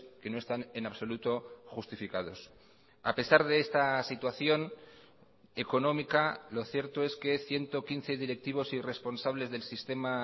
que no están en absoluto justificados a pesar de esta situación económica lo cierto es que ciento quince directivos y responsables del sistema